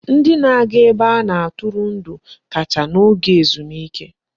Ndị na-aga ebe a na-atụrụ ndụ kacha n'oge ezumike.